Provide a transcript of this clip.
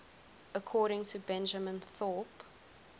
according to benjamin thorpe